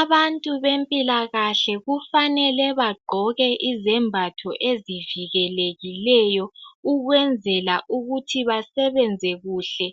abantu bempilakahle kufanele bagqoke izembatho ezivikelekileyo ukwenzela ukuthi basebenze kuhle